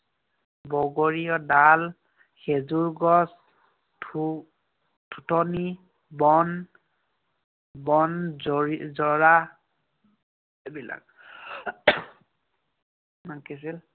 বগৰীৰ ডাল, খেজুৰ গছ, বন, বনজৰী~ জৰা এইবিলাক।